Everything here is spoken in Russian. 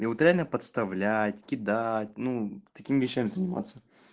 и вот реально подставлять кидать ну такими вещами заниматься